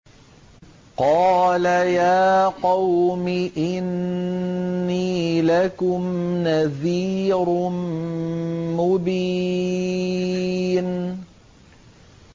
قَالَ يَا قَوْمِ إِنِّي لَكُمْ نَذِيرٌ مُّبِينٌ